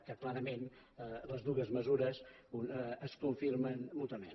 que clarament les dues mesures es confirmen mútuament